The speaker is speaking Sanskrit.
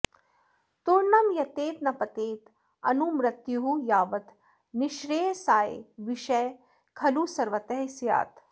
तूर्णं यतेत न पतेत् अनुमृत्युः यावत् निःश्रेयसाय विषयः खलु सर्वतः स्यात्